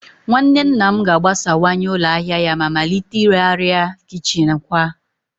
Nwanne nna m ga-agbasawanye ụlọ ahịa ya ma malite ire arịa kichin kwa